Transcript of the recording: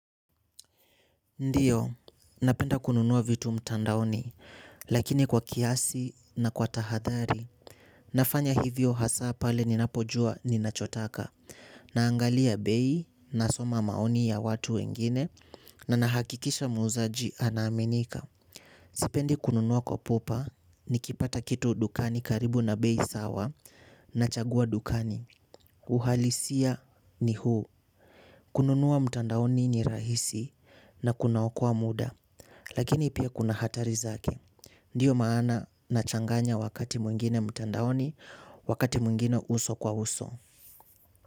Ndio, napenda kununua vitu mtandaoni, lakini kwa kiasi na kwa tahadhari, nafanya hivyo hasa pale ninapojua ninachotaka, naangalia bei, nasoma maoni ya watu wengine, na nahakikisha muzaji anaaminika. Sipendi kununua kwa pupa nikipata kitu dukani karibu na bei sawa nachagua dukani. Uhalisia ni huu. Kununua mtandaoni ni rahisi na kunaokoa muda. Lakini pia kuna hatari zake. Ndiyo maana nachanganya wakati mwingine mtandaoni wakati mwingine uso kwa uso.